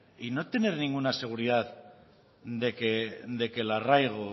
y no tener ninguna seguridad de que el arraigo